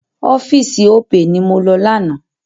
Ọ́fíìsì Opay ni mo lọ lánàá.